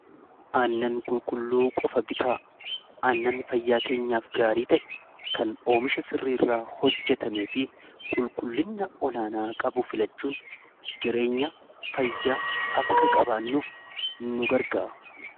Aannan qulqulluu qofa bitaa aannan fayyaa keenyaaf gaarii ta'e kan oomisha sirrii irraa hojjetame fi qulqullina olaanaa qabu filachuun jireenya fayyaa akka qabaannuuf nu gargaaru.